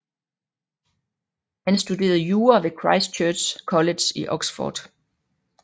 Han studerede jura ved Christ Church College i Oxford